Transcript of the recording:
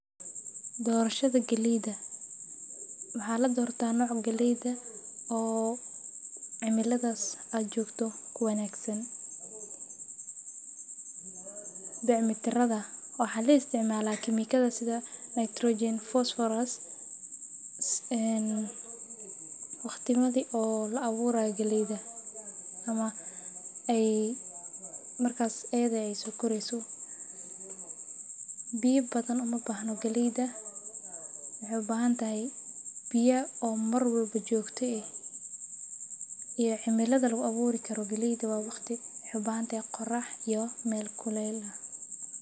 Dorashada galeeyda waxa ladorta nooca cimilada aad joogta uwanagsan bic miratada waxaa la isticmaala kemikada waqtiyada la abuurayo ama aay soo koreyso biya badan uma bahno waxaay ubahan tahay qorax iyo meel kuleel ah.